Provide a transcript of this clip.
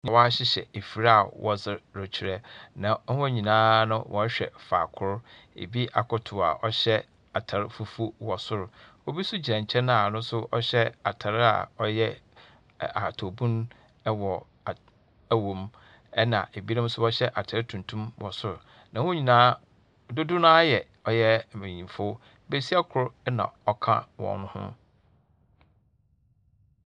Wɔahyehyɛ efir a wɔdze rekyerɛ, na hɔn nyinaa no wɔrehwɛ faakor. Ebi akoto a ɔhyɛ atar fufuo wɔ sor. Obi nso gyina nkyɛn a ɔno nso hyɛ atar a ɔyɛ ahataw bun wɔ ad wom, ɛnna ebinom nso wɔhyɛ atar tuntum wɔ sor, na hɔn nyinaa dodo no ara yɛ ɔyɛ mbenyimfo. Besia kor na ɔka hɔn ho.